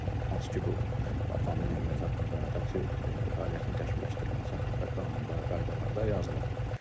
Hansı ki, bu avtomobil nəqliyyatı haqqında, taksi fəaliyyətinin təkmilləşdirilməsi haqqında qanunda, qaydalarda yazılıb.